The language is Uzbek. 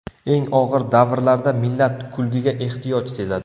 Eng og‘ir davrlarda millat kulgiga ehtiyoj sezadi.